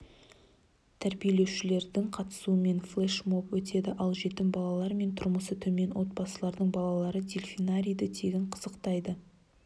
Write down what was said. тәрбиеленушілерінің қатысуымен флеш-моб өтеді ал жетім балалар мен тұрмысы төмен отбасылардың балалары дельфинарийді тегін қызықтай